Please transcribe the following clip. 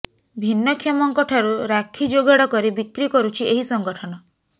ଭିନ୍ନକ୍ଷମଙ୍କ ଠାରୁ ରାକ୍ଷୀ ଯୋଗାଡ଼ କରି ବିକ୍ରି କରୁଛି ଏହି ସଙ୍ଗଠନ